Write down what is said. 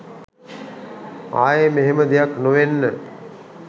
ආයෙ මෙහෙම දෙයක් නොවෙන්න